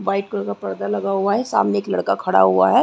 White colour का पर्दा लगा हुआ है सामने एक लड़का खड़ा हुआ है ।